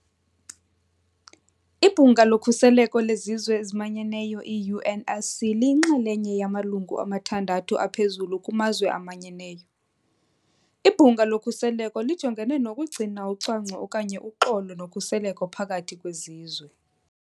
Ibhunga loKhuseleko leZizwe eziManyeneyo, UNSC, liyinxalenye yamalungu amathandathu aphezulu kuMazwe aManyeneyo. Ibhunga lokhuseleko lijongene nokugcina ucwangco okanye uxolo kunye nokhuseleko phakathi kwezizwe.